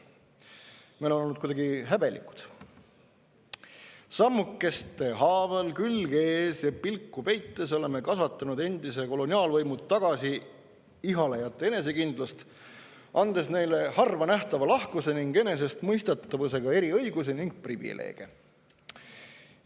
Me oleme olnud kuidagi häbelikud: sammukeste haaval, külg ees ja pilku peites oleme kasvatanud endise koloniaalvõimu tagasiihalejate enesekindlust, andes neile harvanähtava lahkuse ning enesestmõistetavusega eriõigusi ning privileege.